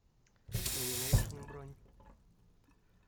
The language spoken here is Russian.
номинэйшн бронь